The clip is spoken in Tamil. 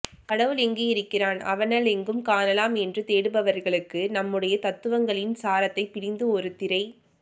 கடவுள் எங்கு இருக்கிறான் அவனலெங்கு காணலாம் என்று தேடுபவர்களுக்கு நம்முடைய தத்துவங்களின் சாரத்தைப் பிழிந்து ஒரு திரைப்